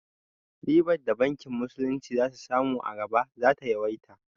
Ribar da bankin musulunci za su samu a gaba za ta yawaita